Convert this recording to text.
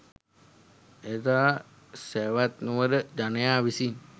එදා සැවත්නුවර ජනයා විසින්